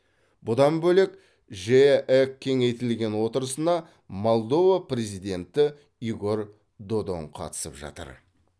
бұдан бөлек жеэк кеңейтілген отырысына молдова президенті игорь додон қатысып жатыр